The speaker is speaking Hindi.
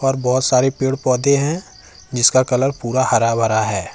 और बहोत सारे पेड़ पौधे हैं जिसका कलर पूरा हरा भरा है।